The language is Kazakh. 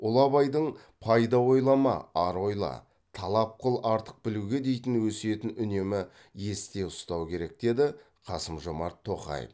ұлы абайдың пайда ойлама ар ойла талап қыл артық білуге дейтін өсиетін үнемі есте ұстау керек деді қасым жомарт тоқаев